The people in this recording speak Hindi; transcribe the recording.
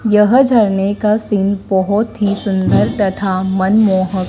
यह झरने का सीन बहुत ही सुंदर तथा मनमोहक--